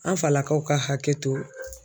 An falakaw ka hakɛ to.